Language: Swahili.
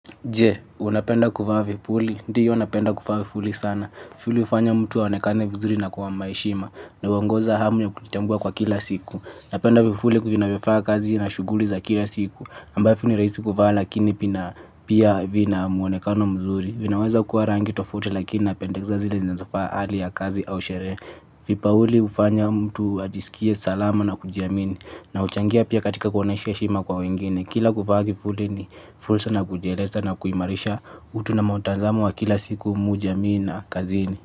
Je! Unapenda kuvaa vipuli. Ndiyo napenda kuvaa vipuli sana. Vipuli hufanya mtu aonekane vizuri na kwa heshima. Na huongoza hamu ya kujitambua kwa kila siku. Napenda vipuli vinavyofaa kazi na shuguli za kila siku. Ambavyo ni rahisi kuvaa lakini pia vina mwonekano mzuri. Vinaweza kuwa rangi tofauti lakini napenda zile zinazofaa hali ya kazi au sherehe. Vipuli hufanya mtu ajisikie salama na kujiamini. Na huchangia pia katika kuonyesha heshima kwa wengine. Kila kuvaa vifuli ni fursa ya kujieleza na kuimarisha utu na mtazamo wa kila siku kwa jamii na kazini.